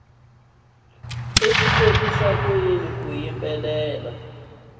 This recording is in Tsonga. swi kotisa ku yini ku